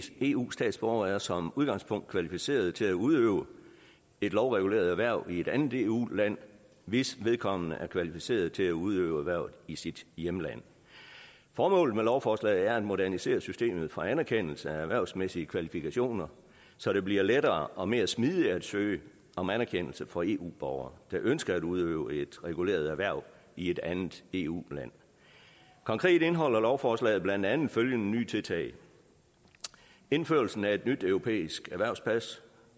eu statsborger er som udgangspunkt kvalificeret til at udøve et lovreguleret erhverv i et andet eu land hvis vedkommende er kvalificeret til at udøve erhvervet i sit hjemland formålet med lovforslaget er at modernisere systemet for anerkendelse af erhvervsmæssige kvalifikationer så det bliver lettere og mere smidigt at søge om anerkendelse for eu borgere der ønsker at udøve et reguleret erhverv i et andet eu land konkret indeholder lovforslaget blandt andet følgende nye tiltag indførelsen af et nyt europæisk erhvervspas